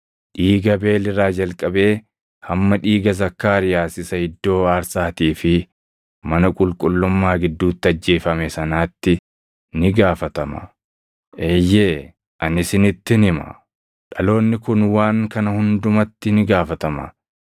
dhiiga Abeel irraa jalqabee hamma dhiiga Zakkaariyaas isa iddoo aarsaatii fi mana qulqullummaa gidduutti ajjeefame sanaatti ni gaafatama. Eeyyee ani isinittin hima; dhaloonni kun waan kana hundumatti ni gaafatama.